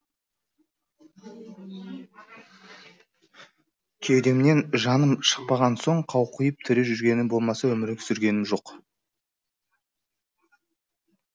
кеудемнен жаным шықпаған соң қауқиып тірі жүргенім болмаса өмір сүргенім жоқ